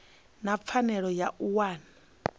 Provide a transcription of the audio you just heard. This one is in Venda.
na pfanelo ya u wana